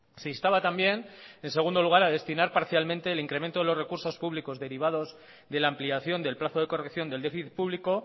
se instaba también en segundo lugar a destinar parcialmente el incremento de los recursos públicos derivados de la ampliación del plazo de corrección del déficit público